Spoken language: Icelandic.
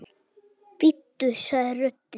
Bíddu sagði röddin.